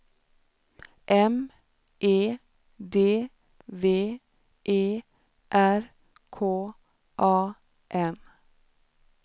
M E D V E R K A N